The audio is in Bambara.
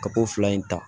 Ka ko fila in ta